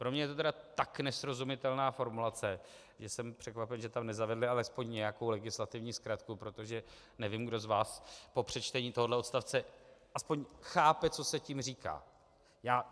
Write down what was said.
Pro mě je to tedy tak nesrozumitelná formulace, že jsem překvapen, že tam nezavedli alespoň nějakou legislativní zkratku, protože nevím, kdo z vás po přečtení tohoto odstavce aspoň chápe, co se tím říká.